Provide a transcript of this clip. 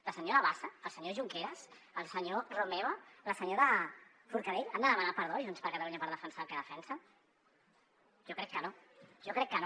la senyora bassa el senyor junqueras el senyor romeva la senyora forcadell han de demanar perdó a junts per catalunya per defensar el que defensa jo crec que no jo crec que no